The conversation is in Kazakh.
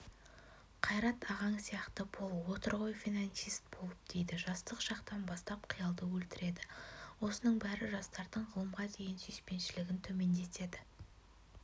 қайрат ағаң сияқты бол отыр ғой финансист болып дейді жастық шақтан бастап қиялды өлтіреді осының бәрі жастардың ғылымға деген сүйіспеншілігін төмендетеді